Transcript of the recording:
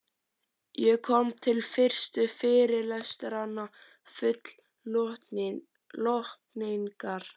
Ég kom til fyrstu fyrirlestranna full lotningar.